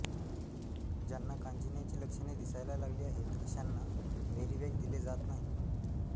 ज्याना कांजिण्याची लक्षणे दिसायला लागली आहेत अशाना व्हेरिवॅक्स दिले जात नाही